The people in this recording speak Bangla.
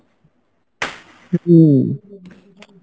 হম